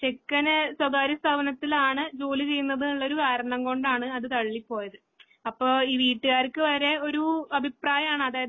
ചെക്കന് സ്വകാര്യസ്ഥാപനത്തിലാണ് ജോലിചെയ്യുന്നത് ള്ളൊരുകാരണംകൊണ്ടാണ് അത് തള്ളിപ്പോയത്. അപ്പോ ഈ വീട്ട്കാർക്ക് വളരേ ഒരൂ അഭിപ്രായാണ് അതായത്